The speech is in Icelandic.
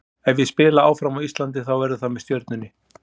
Ef ég spila áfram á Íslandi þá verður það með Stjörnunni.